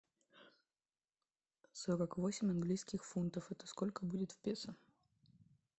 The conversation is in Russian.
сорок восемь английских фунтов это сколько будет в песо